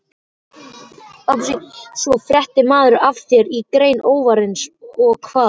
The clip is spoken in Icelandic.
Svo fréttir maður af þér í greni óvinarins- og hvað?